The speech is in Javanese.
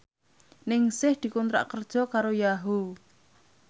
Ningsih dikontrak kerja karo Yahoo!